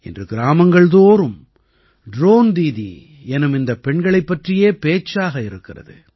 இன்று கிராமங்கள்தோறும் ட்ரோன் தீதீ எனும் இந்தப் பெண்களைப் பற்றியே பேச்சாக இருக்கிறது